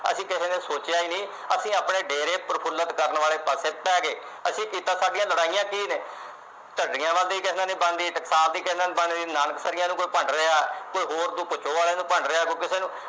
ਅਸੀਂ ਕਿਹੇ ਨੇ ਸੋਚਿਆ ਹੀਂ ਨਹੀਂ ਅਸੀਂ ਆਪਣੇ ਡੇਰੇ ਪ੍ਰਫੂਲਿਤ ਕਰਨ ਵਾਲੇ ਪਾਸੇ ਪੈ ਗਏ ਅਸੀਂ ਕੀਤਾ ਸਾਡੀਆਂ ਲੜਾਈਆਂ ਕੀ ਨੇ ਝੰਡੀਆਂ ਨਾਲ ਕਿਹੇ ਨਾਲ ਨਹੀਂ ਬਣਦੀ ਟਕਸਾਲ ਦੀ ਕਿਹੇ ਨਾਲ ਨਹੀਂ ਬਣਦੀ ਨਾਨਕਸਰੀਆਂ ਨੂੰ ਕੋਈ ਭੰਡ ਰਿਹਾ ਕੋਈ ਹੋਰ ਦੋ ਵਾਲੇ ਨੂੰ ਭੰਡ ਰਿਹਾ ਕੋਈ ਕਿਸੇ ਨੂੰ